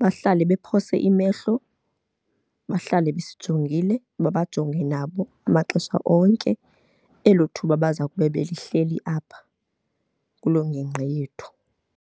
Bahlale bephose imehlo, bahlale besijongile, babajonge nabo amaxesha onke elo thuba baza kube belihleli apha kuloo ngingqi yethu.